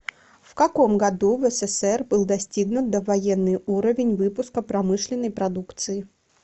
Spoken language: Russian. в каком году в ссср был достигнут довоенный уровень выпуска промышленной продукции